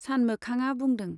सानमोखांआ बुंदों।